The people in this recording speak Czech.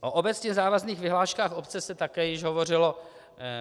O obecně závazných vyhláškách obce se také již hovořilo.